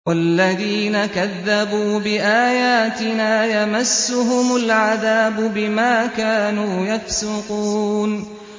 وَالَّذِينَ كَذَّبُوا بِآيَاتِنَا يَمَسُّهُمُ الْعَذَابُ بِمَا كَانُوا يَفْسُقُونَ